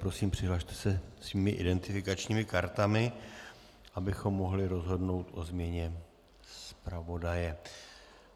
Prosím, přihlaste se svými identifikačními kartami, abychom mohli rozhodnout o změně zpravodaje.